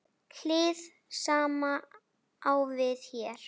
Hið sama á við hér.